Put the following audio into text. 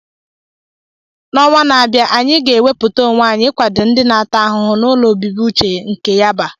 N’ọnwa na-abịa, anyị ga-ewepụta onwe anyị ikwado ndị na-ata ahụhụ n’ụlọ obibi uche nke Yaba.